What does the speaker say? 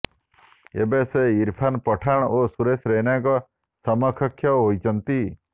ଏବେ ସେ ଇରଫାନ୍ ପଠାନ ଓ ସୁରେଶ ରୈନାଙ୍କ ସମକକ୍ଷ ହୋଇଛନ୍ତି